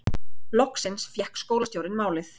Loksins fékk skólastjórinn málið